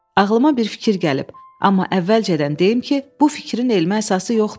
Ağlıma bir fikir gəlib, amma əvvəlcədən deyim ki, bu fikrin elmi əsası yoxdur.